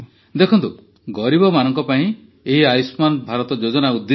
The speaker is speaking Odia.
ଦେଖନ୍ତୁ ଗରିବମାନଙ୍କ ପାଇଁ ଏହି ଆୟୁଷ୍ମାନ ଭାରତ ଯୋଜନା ଉଦ୍ଦିଷ୍ଟ